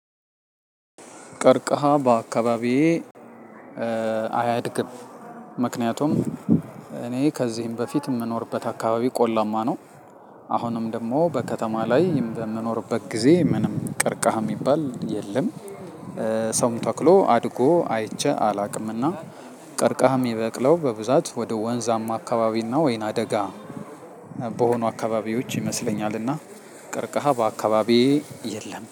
ቀርከሃ በአካባቢዬ አያድግም ምክንያቱም እኔ ከዚህም በፊት የምኖርበት አካባቢ ቆላማ ነው። አሁንም ደግሞ በከተማ ላይ በምኖርበት ጊዜ ምንም ቀርከሃ የሚባል የለም። ሰው ተክሎ አድጎ አይቼ አላውቅምና። ቀርከሃ ሚበቅለው በብዛት ወደ ወንዛማ አካባቢና ወይና ደጋ በሆኑ አካባቢዎች ይመስለኛልና። ቀርከሃ በአካባቢዬ የለም